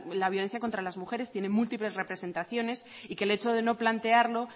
la violencia contra las mujeres tiene múltiples representaciones y que el hecho de no plantearlo